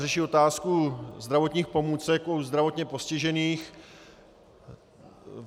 Řeší otázku zdravotních pomůcek u zdravotně postižených.